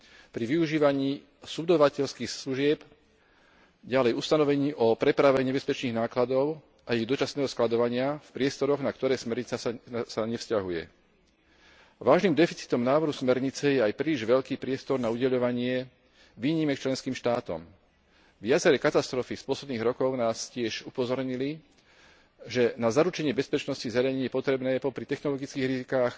pri využívaní subdodávateľských služieb, ďalej ustanovení o prepravení nebezpečných nákladov a ich dočasného skladovania v priestoroch, na ktoré smernica sa nevzťahuje. Vážnym deficitom návrhu smernice je aj príliš veľký priestor na udeľovanie výnimiek členským štátom. Viaceré katastrofy z posledných rokov nás tiež upozornili, že na zaručenie bezpečnosti zariadení je potrebné popri technologických rizikách